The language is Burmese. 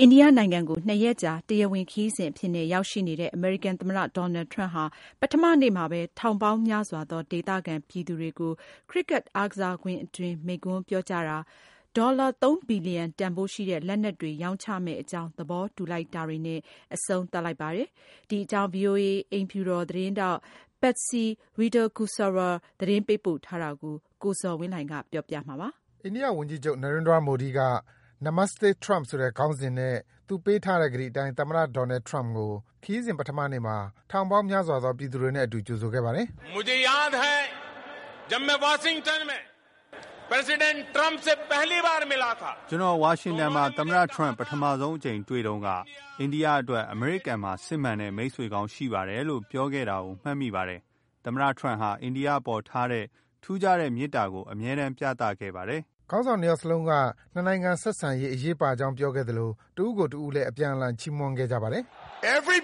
အိန္ဒိယနိုင်ငံကို ၂ ရက်ကြာ တရားဝင်ခရီးစဉ်အဖြစ်နဲ့ ရောက်ရှိနေတဲ့ အမေရိကန်သမ္မတ Donald Trump ဟာ ပထမနေ့မှာဘဲ ထောင်ပေါင်းများစွာသော ဒေသခံပြည်သူတွေကို Cricket အားကစားကွင်းအတွင်း မိန့်ခွန်းပြောကြားတာ၊ ဒေါ်လာ ၃ ဘီလီယံတန်ဖိုးရှိတဲ့ လက်နက်တွေ ရောင်းချမယ့်အကြောင်း သဘောတူလိုက်တာတွေနဲ့ အဆုံးသတ်လိုက်ပါပြီ။ ဒီအကြောင်း ဗွီအိုအေ အိမ်ဖြူတော် သတင်းထောက် Patsy Widakuswara သတင်းပေးပို့ထားတာကို ကိုဇော်ဝင်းလှိုင်က တင်ပြပေးပါမယ်။ အိန္ဒိယဝန်ကြီးချုပ် Narendra Modi က Namaste Trump ဆိုတဲ့ ခေါင်းစဉ်နဲ့ ပေးထားတဲ့ ကတိအတိုင်း သမ္မတ Donald Trump ကို ခရီးစဉ် ပထမနေ့မှာ ထောင်ပေါင်းများစွာသော ပြည်သူတွေနဲ့အတူ ကြိုဆိုခဲ့ပါတယ်။ “ကျနော် ဝါရှင်တန်မှာ သမ္မတ Trump ပထမဆုံးအကြိမ်တွေ့တုန်းက အိန္ဒိယအတွက် အမေရိကန်မှာ စစ်မှန်တဲ့ မိတ်ဆွေကောင်းရှိပါတယ်လို့ ပြောခဲ့တာကို မှတ်မိပါတယ်။ သမ္မတ Trump ဟာ အိန္ဒိယအပေါ်ထားတဲ့ ထူးခြားတဲ့ မေတ္တာကို အမြဲတမ်း ပြသခဲ့ပါတယ်။” ခေါင်းဆောင် ၂ ယောက်စလုံးက နှစ်နိုင်ငံဆက်ဆံရေး အရေးပါကြောင်း ပြောခဲ့သလို တဦးကိုတဦးလည်း အပြန်အလှန် ချီးမွမ်းခဲ့ကြပါတယ်။ “ဝန်